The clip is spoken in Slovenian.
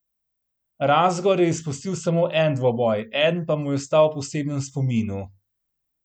Razgor je izpustil samo en dvoboj, eden pa mu je ostal v posebnem spominu.